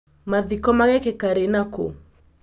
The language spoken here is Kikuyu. Mathiko maagĩkĩka rĩ na kũ?